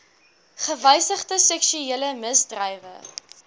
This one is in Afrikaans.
gewysigde seksuele misdrywe